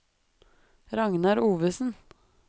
Ragnar Ovesen